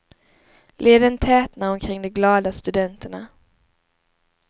Leden tätnar omkring de glada studenterna.